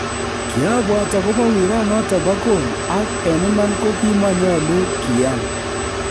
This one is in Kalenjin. "Kiabwat agobo wiranoton boo gool ak en iman kogimonyolu kiyaan."